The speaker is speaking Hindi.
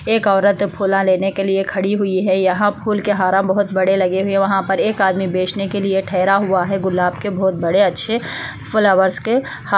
एक औरत फूला लेने के लिए खड़ी हुई है | यहाँ फूल के हाराम बहोत बड़े लगे हुए है वहाँ पर एक आदमी बेचने के लिए ठेहरा हुआ है गुलाब के बहोत बड़े अच्छे फ्लावर्स के हा--